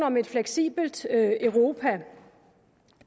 om et fleksibelt europa